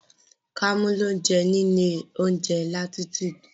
Kàmú lọ jẹun ní ilé oúnjẹ Latitude.